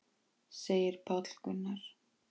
segir Páll Gunnar.